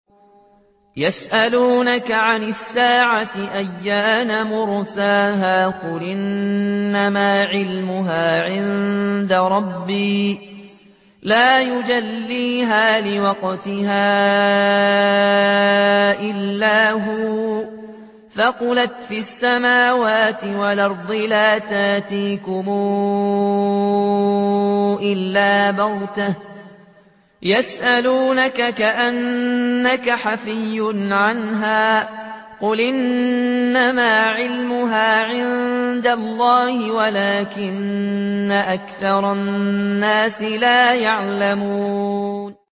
يَسْأَلُونَكَ عَنِ السَّاعَةِ أَيَّانَ مُرْسَاهَا ۖ قُلْ إِنَّمَا عِلْمُهَا عِندَ رَبِّي ۖ لَا يُجَلِّيهَا لِوَقْتِهَا إِلَّا هُوَ ۚ ثَقُلَتْ فِي السَّمَاوَاتِ وَالْأَرْضِ ۚ لَا تَأْتِيكُمْ إِلَّا بَغْتَةً ۗ يَسْأَلُونَكَ كَأَنَّكَ حَفِيٌّ عَنْهَا ۖ قُلْ إِنَّمَا عِلْمُهَا عِندَ اللَّهِ وَلَٰكِنَّ أَكْثَرَ النَّاسِ لَا يَعْلَمُونَ